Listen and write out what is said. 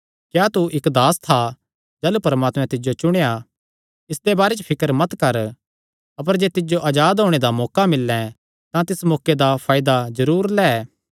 क्या तू इक्क दास था जाह़लू परमात्मैं तिज्जो चुणेया इसदे बारे च फिकर मत कर अपर जे तिज्जो अजाद होणे दा मौका मिल्लैं तां तिस मौके दा फायदा जरूर लै